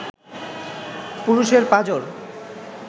পুরুষের পাঁজর